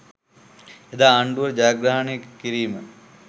එදා ආණ්ඩුව ජයග්‍රහණය කිරීම